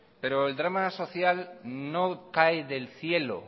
pero el drama social no cae del cielo